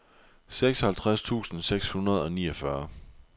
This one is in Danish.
seksoghalvtreds tusind seks hundrede og niogfyrre